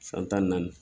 San tan ni naani